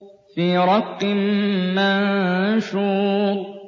فِي رَقٍّ مَّنشُورٍ